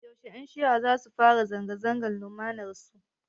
Yaushe Ƴan shi'ar zasu fara zanga-zangar lumanar su?